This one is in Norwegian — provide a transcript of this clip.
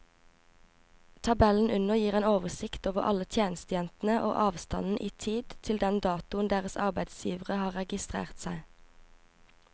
Tabellen under gir en oversikt over alle tjenestejentene og avstanden i tid til den datoen deres arbeidsgivere har registrert seg.